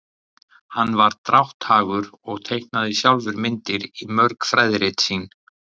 Hann var drátthagur og teiknaði sjálfur myndir í mörg fræðirit sín.